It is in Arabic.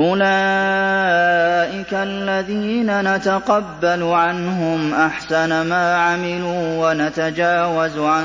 أُولَٰئِكَ الَّذِينَ نَتَقَبَّلُ عَنْهُمْ أَحْسَنَ مَا عَمِلُوا وَنَتَجَاوَزُ عَن